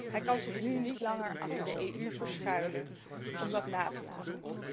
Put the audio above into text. Hij kan zich nu niet langer achter de EU verschuilen om dat na te laten.